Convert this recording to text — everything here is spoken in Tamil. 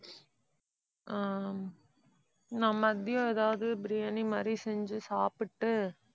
ஆஹ் நான் மதியம் ஏதாவது biryani மாதிரி செஞ்சு சாப்பிட்டு